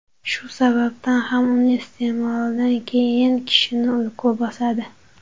Shu sababdan ham uni iste’molidan keyin kishini uyqu bosadi.